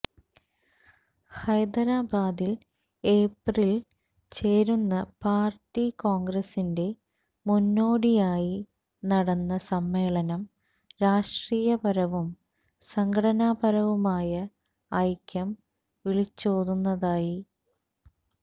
ഹൈദരാബാദിൽ ഏപ്രിലിൽ ചേരുന്ന പാർടി കോൺഗ്രസിന്റെ മുന്നോടിയായി നടന്ന സമ്മേളനം രാഷ്ട്രീയപരവും സംഘടനാപരവുമായ ഐക്യം വിളിച്ചോതുന്നതായി